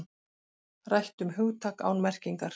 Rætt um hugtak án merkingar